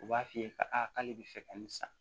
U b'a f'i ye ka k'ale bi fɛ ka nin san